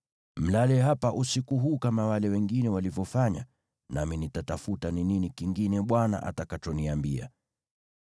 Mlale hapa usiku huu kama wale wengine walivyofanya, nami nitatafuta ni nini kingine Bwana atakachoniambia.”